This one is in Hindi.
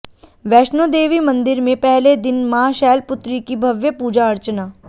वैष्णोदेवी मंदिर में पहले दिन मां शैलपुत्री की भव्य पूजा अर्चना